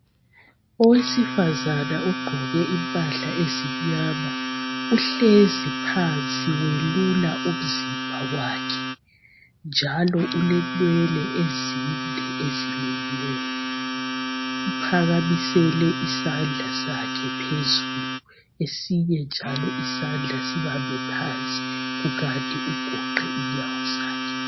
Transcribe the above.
Owesifazana ogqqoke impahla ezimnyama uhlezi phansi welula umzimba wakhe njalo ulenwele ezinde ezilukiweyo uphakamisele isandla sakhe phezulu esinye njalo isandla sibambe phansi kukanti ugoqe inyawo zakhe.